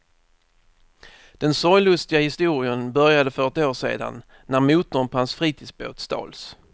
Den sorglustiga historien började för ett år sedan när motorn på hans fritidsbåt stals.